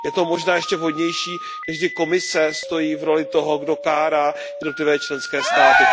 Je to možná ještě vhodnější, než když Komise stojí v roli toho, kdo kárá jednotlivé členské státy.